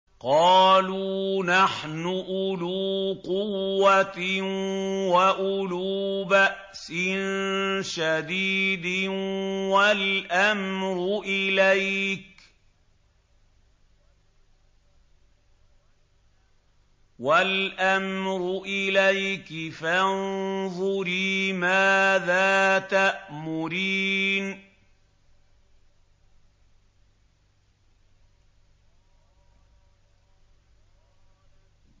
قَالُوا نَحْنُ أُولُو قُوَّةٍ وَأُولُو بَأْسٍ شَدِيدٍ وَالْأَمْرُ إِلَيْكِ فَانظُرِي مَاذَا تَأْمُرِينَ